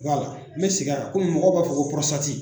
n bɛ segin a kan komi mɔgɔw b'a fɔ ko